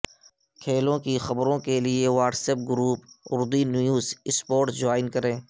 کھیلوں کی خبروں کے لیے WhatsApp group Urdu News sports join کریں